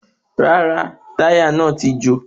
Rárá, táyà náà ti jò